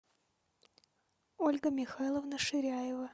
ольга михайловна ширяева